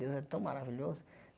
Deus é tão maravilhoso.